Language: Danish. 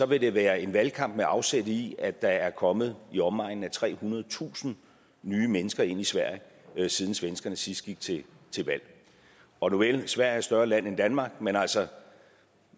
vil det være en valgkamp med afsæt i at der er kommet i omegnen af trehundredetusind nye mennesker ind i sverige siden svenskerne sidst gik til valg og nuvel sverige er et større land end danmark men altså